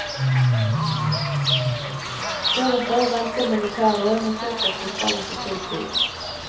Deretter venter militæret, men så skal fotballen få full tid.